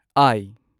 ꯑꯥꯢ